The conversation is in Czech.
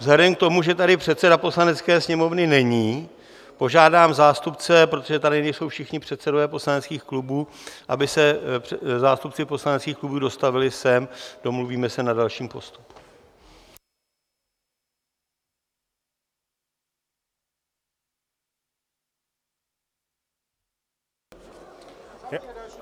Vzhledem k tomu, že tady předseda Poslanecké sněmovny není, požádám zástupce, protože tady nejsou všichni předsedové poslaneckých klubů, aby se zástupci poslaneckých klubů dostavili sem, domluvíme se na dalším postupu.